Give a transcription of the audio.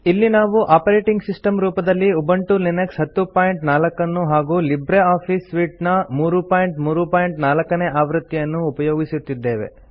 ಇಲ್ಲಿ ನಾವು operating system ರೂಪದಲ್ಲಿ ಉಬಂಟು ಲಿನಕ್ಸ್ 1004 ನ್ನು ಹಾಗೂ ಲಿಬ್ರೆ ಆಫೀಸ್ ಸೂಟ್ ನ 334 ನೇ ಆವೃತ್ತಿಯನ್ನು ಉಪಯೊಗಿಸುತ್ತಿದ್ದೇವೆ